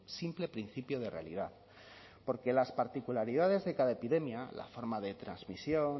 simple principio de realidad porque las particularidades de cada epidemia la forma de transmisión